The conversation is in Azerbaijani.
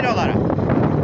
Kömək elə onlara.